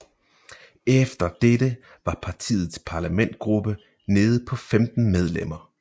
Efter dette var partiets parlamentsgruppe nede på 15 medlemmer